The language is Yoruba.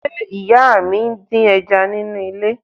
Ṣé ìyá mi ń dín ẹja nínú ilé?